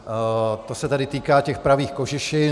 To se tedy týká těch pravých kožešin.